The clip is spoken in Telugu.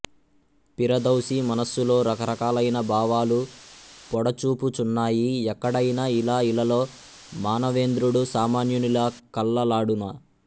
పిరదౌసి మనస్సులో రకరకాలైన భావాలు పొడచూపుచున్నాయి ఎక్కడైన ఇలా ఇలలో మానవేంద్రుడు సామాన్యునిలా కల్లలాడునా